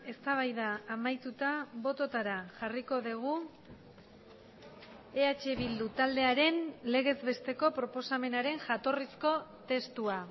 eztabaida amaituta bototara jarriko dugu eh bildu taldearen legez besteko proposamenaren jatorrizko testua